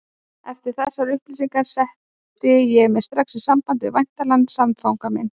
Eftir þessar upplýsingar setti ég mig strax í samband við væntanlegan samfanga minn.